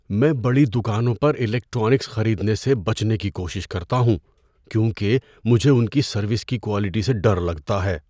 میں بڑی دکانوں پر الیکٹرانکس خریدنے سے بچنے کی کوشش کرتا ہوں کیونکہ مجھے ان کی سروس کی کوالٹی سے ڈر لگتا ہے۔